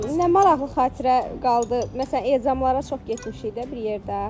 Nə maraqlı xatirə qaldı, məsələn, ezamlara çox getmişik də bir yerdə.